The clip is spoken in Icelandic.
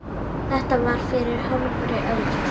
Þetta var fyrir hálfri öld.